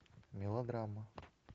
мелодрама